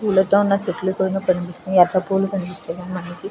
పూలతో ఉన్న చెట్లతోను కనిపిస్తున్నాయి. ఎర్ర పూలు కనిపిస్తున్నాయి మనకి.